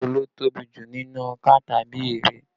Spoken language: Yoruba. Èwo ló tóbi jù nínú ọkà tàbí erè?